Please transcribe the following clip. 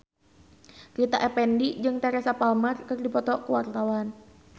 Rita Effendy jeung Teresa Palmer keur dipoto ku wartawan